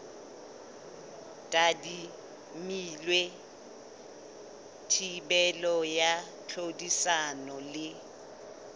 tadimilwe thibelo ya tlhodisano le